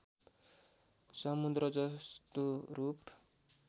समुद्र जस्तो रूप